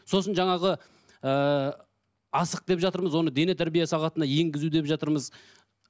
сосын жаңағы ыыы асық деп жатырмыз оны дене тәрбие сағатына енгізу деп жатырмыз